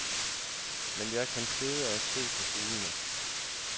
Men jeg kan sidde og se på fuglene.